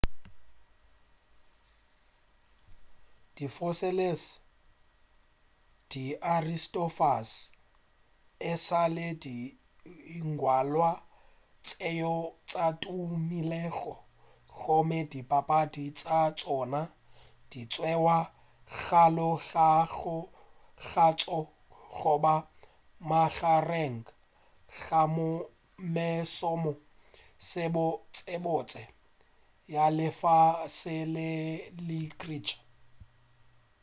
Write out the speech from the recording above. di sophocles le di aristophanes e sa le dingwalwa tšeo sa tumilego gomme dipapadi tša tšona di tšeiwa bjalo ka tša goba magareng ga mešomo ye mebotsebotse ya lefase la literature